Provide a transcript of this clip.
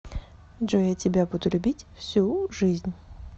джой я тебя буду любить всю жизнь